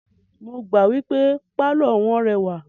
Mo gbà wípé pálọ̀ wọ́n rẹwà.